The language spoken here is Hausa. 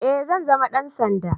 Eh zan zama dan sanda